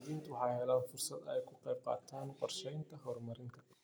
Muwaadiniintu waxay helaan fursad ay kaga qayb qaataan qorshayaasha horumarineed.